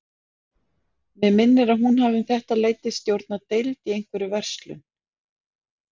Mig minnir að hún hafi um þetta leyti stjórnað deild í einhverri verslun.